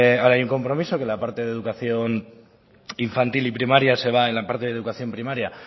ahora hay un compromiso que la parte de educación infantil y primaria se va en la parte de la educación primaria